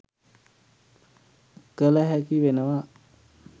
කළ හැකි වෙනවා.